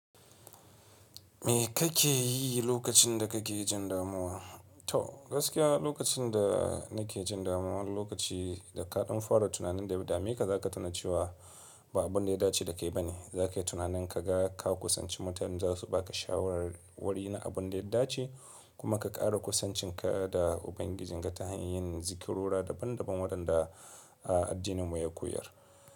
Me kake yi lokacin da kake jin damuwa? To gaskiya lokacin da nake jin damuwa, lokaci da kaɗan fara tunanin da ya dameka, kaza ka tuna cewa ba abun da ya dace da kai ba ne. Za ka yi tunanin ka ga ka kusanci mutane za su ba ka shawarwari na abun da ya dace. Kuma ka ƙara kusancinka da Ubangiji, ga ta hanyar yin zikirora daban daban, waɗanda a addininmu ya koyar.